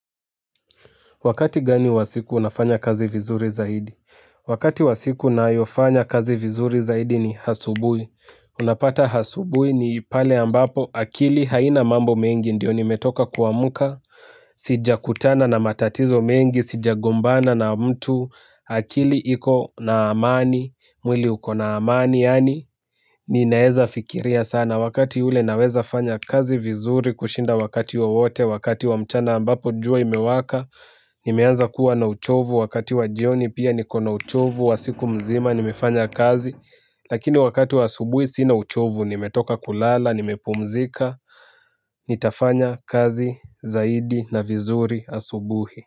Wakati gani wa siku unafanya kazi vizuri zaidi. Wakati wa siku nayofanya kazi vizuri zaidi ni hasubui. Unapata hasubui ni pale ambapo akili haina mambo mengi ndio nimetoka kuamuka. Sijakutana na matatizo mengi sijagombana na mtu akili iko na amani mwili uko na amani yani ninaeza fikiria sana wakati ule naweza fanya kazi vizuri kushinda wakati wowote wakati wa mchana ambapo jua imewaka. Nimeanza kuwa na uchovu wakati wa jioni pia niko na uchovu wa siku mzima nimefanya kazi. Lakini wakati wa asubuhi sina uchovu nimetoka kulala nimepumzika. Nitafanya kazi zaidi na vizuri asubuhi.